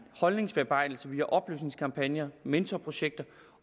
holdningsbearbejdelse via oplysningskampagner mentorprojekter